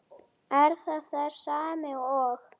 Er það þessi sami og.